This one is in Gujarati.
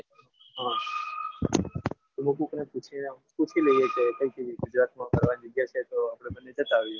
એટલે તું કોઈ ને પૂછી પૂછી લેજે કે ગુજરાત મ ફરવાની જગ્યા છે તો આપણે બંને જતા આવીએ.